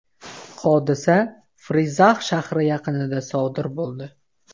Hodisa Frizax shahri yaqinida sodir bo‘ldi.